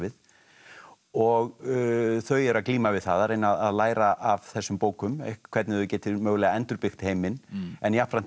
og þau eru að glíma við það að læra af þessum bókum hvernig þau geti mögulega endurbyggt heiminn en jafnframt eru þau